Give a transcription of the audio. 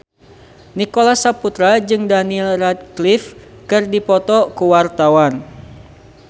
Nicholas Saputra jeung Daniel Radcliffe keur dipoto ku wartawan